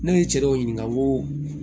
Ne ye cɛ dɔw ɲininka ko